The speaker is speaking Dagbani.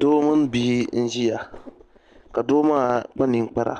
Doo mini bia n ʒiya ka doo maa kpa ninkpara